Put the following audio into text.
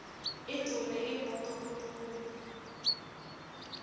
idvume imoto kuphume